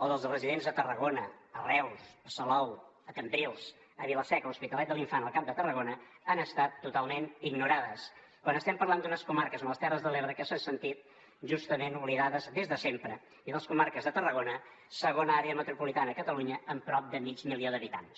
o dels residents a tarragona a reus a salou a cambrils a vila seca o l’hospitalet de l’infant al camp de tarragona han estat totalment ignorades quan estem parlant d’unes comarques com les terres de l’ebre que s’han sentit justament oblidades des de sempre i de les comarques de tarragona segona àrea metropolitana a catalunya amb prop de mig milió d’habitants